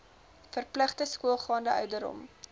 verpligte skoolgaande ouderdom